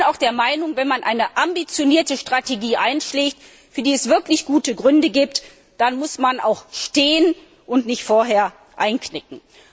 Ich bin der Meinung, wenn man eine ambitionierte Strategie einschlägt, für die es wirklich gute Gründe gibt, dann muss man auch stehen und nicht vorher einknicken.